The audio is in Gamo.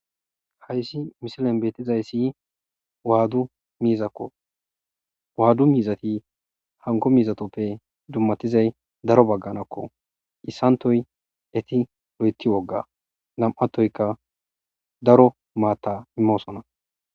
Hayssi misilen beetizayssi waaddu miizakko waaddu miizati hanko miizatoppe dummatizay daro bagganakko issantoy eti lo'eti wogga nam'attoyka daro maatta immosona.